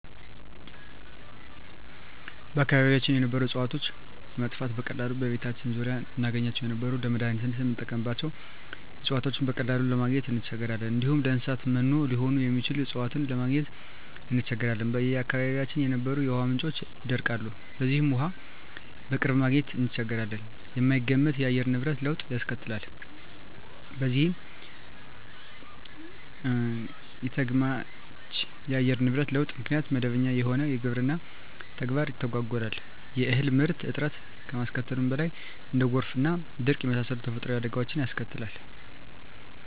በአካባቢያችን የነበሩ እጽዋቶች መጥፋት፤ በቀላሉ በቤታችን ዙሪያ እናገኛቸው የነበሩ ለመዳኒትነት ምንጠቀምባቸው እጽዋቶችን በቀላሉ ለማግኝ እንቸገራለን፣ እንዲሁም ለእንሰሳት መኖ ሊሆኑ የሚችሉ እጽዋትን ለማግኘት እንቸገራለን፣ በአካባቢያችን የነበሩ የውሃ ምንጮች ይደርቃሉ በዚህም ውሃ በቅርብ ማግኘት እንቸገራለን፣ የማይገመት የአየር ንብረት ለውጥ ያስከትላል በዚህም ኢተገማች የአየር ንብረት ለውጥ ምክንያት መደበኛ የሆነው የግብርና ተግባር ይተጓጎላል የእህል ምርት እጥረት ከማስከተሉም በላይ እንደ ጎርፍና ድርቅ የመሳሰሉ ተፈጥሮአዊ አደጋወችንም ያስከትላል።